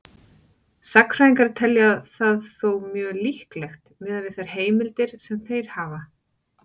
Sagnfræðingar telja það þó mjög líklegt miðað við þær heimildir sem þeir hafa.